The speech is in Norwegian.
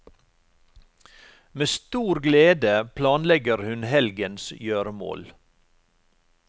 Med stor glede planlegger hun helgens gjøremål.